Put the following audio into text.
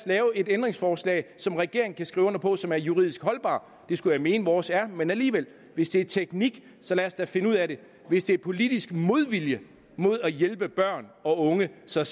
lave et ændringsforslag som regeringen kan skrive under på og som er juridisk holdbart det skulle jeg mene at vores er men alligevel hvis det er teknik så lad os da finde ud af det hvis det er politisk modvilje mod at hjælpe børn og unge så